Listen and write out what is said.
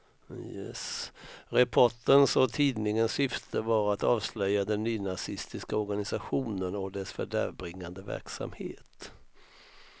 Reporterns och tidningens syfte var att avslöja den nynazistiska organisationen och dess fördärvbringande verksamhet.